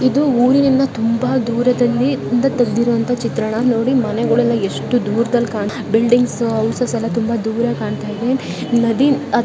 ಇದು ಊರಿನಿಂದ ತುಂಬಾ ದೂರದಲ್ಲಿ ಇಂದ ತೆಗೆದಿರುವಂತ ಚಿತ್ರಣ ನೋಡಿ ಮನೆಗಳಲ್ಲಿ ಎಷ್ಟು ದೂರದಲ್ಲಿ ಕ್ಕನ್ಚೆ. ಬಿಲ್ಡಿಂಗ್ ಅವು ಸಹ ಯಲ್ಲ ದೂರ ಕಾನ್ತಾಯಿದೆ. ನದಿ ಅ --